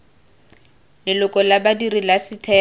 leloko la badiri la setheo